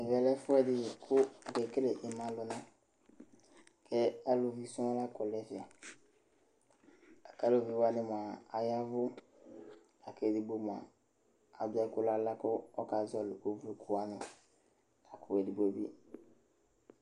Ɛvɛ lɛ ɛfʋɛdɩ kʋ akekele ɩmalʋna kʋ aluvi sɔŋ la kɔ nʋ ɛfɛ la kʋ aluvi wanɩ mʋa, aya ɛvʋ la kʋ edigbo mʋa, adʋ ɛkʋ nʋ aɣla kʋ ɔkazɔɣɔlɩ kevlukʋ wanɩ La kʋ edigbo bɩ